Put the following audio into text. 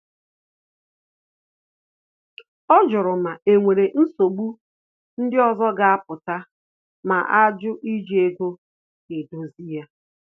Ọ jụrụ ma o nwere nsogbu ndị ọzọ ga apụta ma ajụ iji ego edozi ya